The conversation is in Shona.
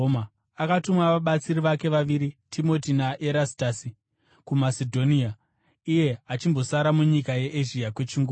Akatuma vabatsiri vake vaviri, Timoti naErastasi, kuMasedhonia, iye achimbosara munyika yeEzhia kwechinguva.